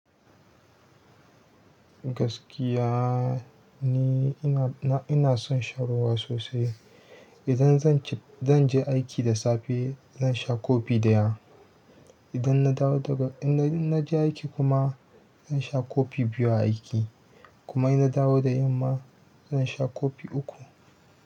Gaskiya ni ina son shan ruwa sosai. Idan zan je aiki da safe zan sha kofi ɗaya. Idan na dawo daga, in na je aiki kuma zan sha kofi biyu a aiki. Kuma ina dawo da yamma zan sha kofi uku.